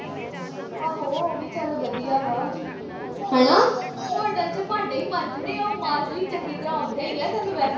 ਆਹੋ ਉਹ ਵੀ ਚੱਲ ਵਧੀਆ ਵਾ ਹੋਟਲ ਵਿਚ ਭਾਂਡੇ ਈ ਮਾਂਜਣੇ ਉਹ ਮਾਂਜ ਲਈ ਚੰਗੀ ਤਰ੍ਹਾਂ ਆਂਉਦੇ ਈ ਆ ਤੈਨੂੰ ਵੈਹੇ